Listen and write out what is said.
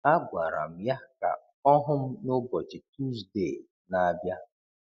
Agwara m ya ka ọ hụ m n’ụbọchị Tuzde na-abịa.